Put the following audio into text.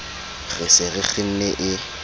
re se re kgenne e